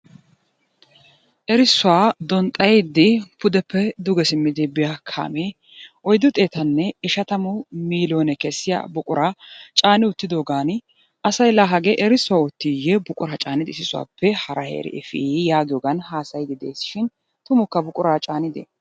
Erissuwa donxxayide pudeppe duge simmidi biya kaame oyddu xeetanne ishshatammu milloone kessiya buquraa caana uttidoogan asay la hagee erissuwa oottiye buqura caanidi issi sohuwappe hara efiii yaagiyoogan haassayide de'eesishin tumukka buqura caanide?